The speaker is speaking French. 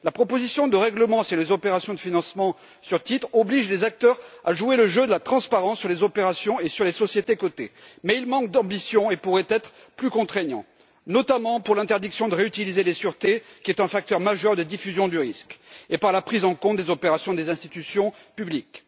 La proposition de règlement relative aux opérations de financement sur titres oblige les acteurs à jouer le jeu de la transparence pour ce qui est des opérations et des sociétés cotées. Mais elle manque d'ambition et pourrait être plus contraignante, notamment en ce qui concerne l'interdiction de réutiliser les sûretés, qui est un facteur majeur de diffusion du risque, et par la prise en compte des opérations des institutions publiques.